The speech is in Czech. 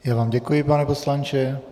Já vám děkuji, pane poslanče.